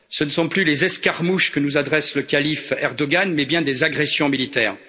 Ce ne sont plus des escarmouches que nous adresse le calife Erdogan mais bien des agressions militaires.